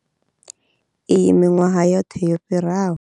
Iyi miṅwahani yoṱhe yo fhiraho.